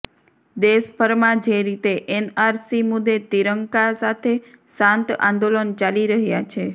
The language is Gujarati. દેશભરમાં જે રીતે એનઆરસી મુદ્દે તિરંગા સાથે શાંત આંદોલન ચાલી રહ્યા છે